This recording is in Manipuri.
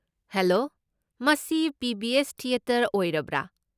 ꯍꯦꯂꯣ, ꯃꯁꯤ ꯄꯤ.ꯚꯤ.ꯑꯦꯁ. ꯊꯤꯑꯦꯇꯔ ꯑꯣꯔꯕ꯭ꯔꯥ?